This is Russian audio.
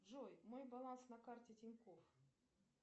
джой мой баланс на карте тинькофф